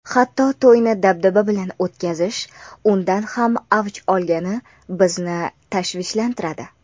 hatto to‘yni dabdaba bilan o‘tkazish undan ham avj olgani bizni tashvishlantiradi.